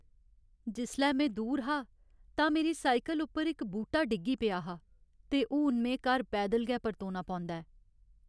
जिसलै में दूर हा तां मेरी साइकल उप्पर इक बूह्टा डिग्गी पेआ हा ते हून में घर पैदल गै परतोना पौंदा ऐ।